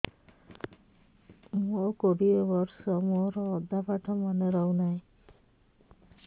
ମୋ କୋଡ଼ିଏ ବର୍ଷ ମୋର ଅଧା ପାଠ ମନେ ରହୁନାହିଁ